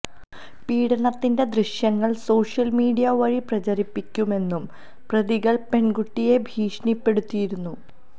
പീഡനത്തിന്റെ ദൃശ്യങ്ങള് social media വഴി പ്രചരിപ്പിക്കുമെന്നും പ്രതികള് പെണ്കുട്ടിയെ ഭീഷണിപ്പെടുത്തിയിരുന്നു